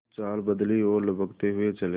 कुछ चाल बदली और लपकते हुए चले